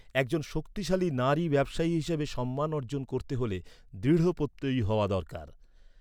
একজন শক্তিশালী নারী ব্যবসায়ী হিসাবে সম্মান অর্জন করতে হলে দৃঢ়প্রত্যয়ী হওয়া দরকার।